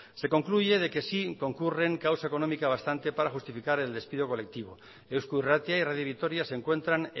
se concluye de que sí concurren causa económica bastante para justificar el despido colectivo eusko irratia y radio vitoria se encuentran